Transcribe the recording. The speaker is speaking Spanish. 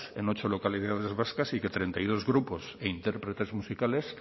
en ocho localidades vascas y que treinta y dos grupos e intérpretes musicales